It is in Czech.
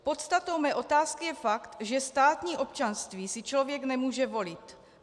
Podstatou mé otázky je fakt, že státní občanství si člověk nemůže volit.